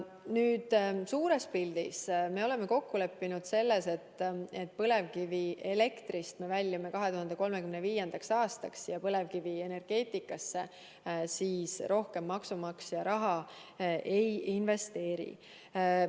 Nüüd, suures pildis me oleme kokku leppinud selles, et põlevkivielektri kasutamisest loobume 2035. aastaks ja seejärel põlevkivienergeetikasse rohkem maksumaksja raha ei investeeri.